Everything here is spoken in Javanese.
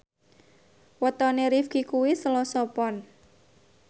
wetone Rifqi kuwi Selasa Pon